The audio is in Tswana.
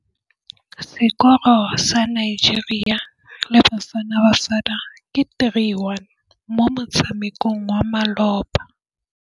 Sekôrô sa Nigeria le Bafanabafana ke 3-1 mo motshamekong wa malôba.